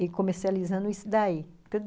E comercializando isso daí.